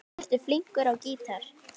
Ertu flinkur á gítar?